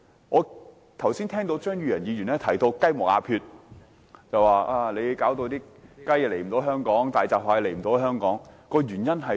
我剛才聽到張宇人議員提到"雞毛鴿缺"，批評政府不准雞隻及大閘蟹進口香港，原因何在？